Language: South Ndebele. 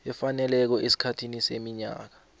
efaneleko esikhathini seminyaka